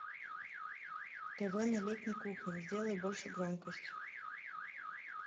тв на летней кухне сделай больше громкость